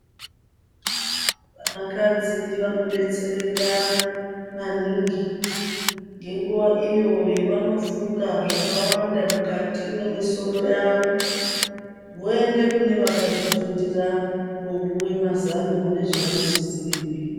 Vanakadzi vanodetsereka maningi ngenguwa iyo yavanofunga zvakawanda mukati mwemisoro yavo voende kune vakazvifundira kopuwe mazano nezvavanosisire kuita.